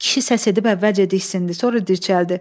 Kişi səs edib əvvəlcə diksindi, sonra dirçəldi.